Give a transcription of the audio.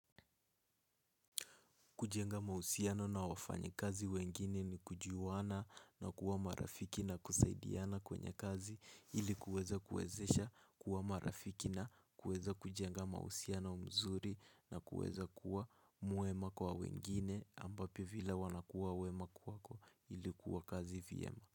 Kujenga mausiano na wafanya kazi wengine ni kujuana na kuwa marafiki na kusaidiana kwenye kazi ili kuweza kuezesha kuwa marafiki na kuweza kujenga mausiano mzuri na kuweza kuwa mwema kwa wengine ambao pia vila wanakuwa wema kuwako ilikuwa kazi vyema.